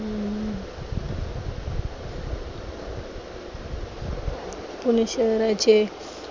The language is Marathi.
पुणे शहराचे